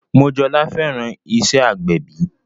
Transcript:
Mojola fẹ́ràn iṣẹ́ agbẹ̀bí